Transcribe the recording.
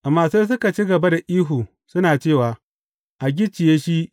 Amma sai suka ci gaba da ihu, suna cewa, A gicciye shi!